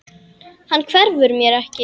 Hann hverfur mér ekki.